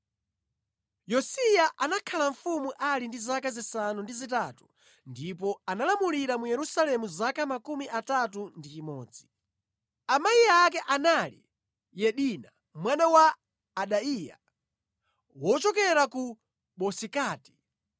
Yosiya anakhala mfumu ali ndi zaka zisanu ndi zitatu ndipo analamulira mu Yerusalemu zaka 31. Amayi ake anali Yedida mwana wa Adaiya wochokera ku Bozikati.